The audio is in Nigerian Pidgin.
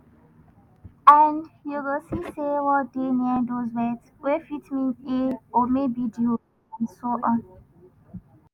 and you go see say word dey near dose words wey fit mean "a" or maybe "di" and so on.